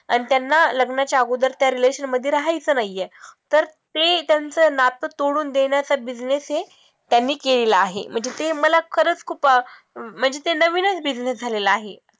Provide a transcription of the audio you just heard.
आणि त्यांना लग्नाच्या अगोदर त्या relation मध्ये राहायचं नाहीये, तर ते त्यांच नात तोडून देण्याचा business ही त्यांनी केलेला आहे म्हणजे ते मला खरचं खूप अं म्हणजे ते नवीनच business झालेला आहे.